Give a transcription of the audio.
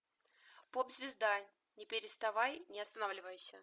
поп звезда не переставай не останавливайся